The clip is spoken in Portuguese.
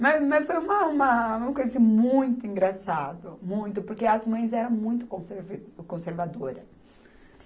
Mas, mas foi uma, uma coisa assim muito engraçada, muito, porque as mães eram muito conserve, conservadora.